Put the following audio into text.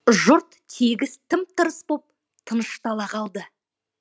жұрт тегіс тым тырыс боп тыныштала қалды